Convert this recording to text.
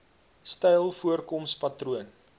styl voorkoms patroon